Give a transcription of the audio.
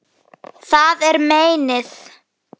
Það er meinið.